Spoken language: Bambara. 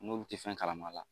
N'olu tɛ fɛn kalama